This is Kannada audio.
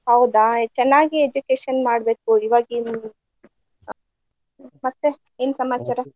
ಹೌದಾ ಚನ್ನಾಗಿ education ಮಾಡ್ಬೇಕು ಈವಾಗಿನ್ ಮತ್ತೆ ಏನ ಸಮಾಚಾರಾ?